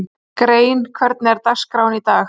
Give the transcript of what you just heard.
Grein, hvernig er dagskráin í dag?